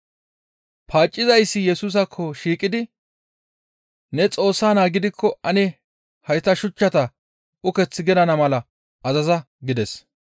Paaccizayssi Yesusaakko shiiqidi, «Ne Xoossa Naa gidikko ane hayta shuchchata uketh gidana mala azaza» gides.